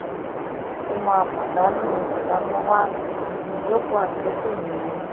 ó máa pàdánù ádámáwá ibùjókòó àtìkù nìyẹn